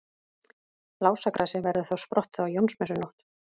Lásagrasið verður þá sprottið á Jónsmessunótt.